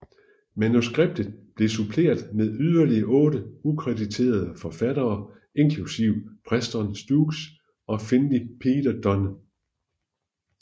Manuskriptet blev suppleret med yderligere otte ukrediterede forfattere inklusiv Preston Sturges og Finley Peter Dunne